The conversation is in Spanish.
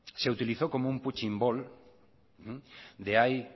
se utilizó como un punching ball de ahí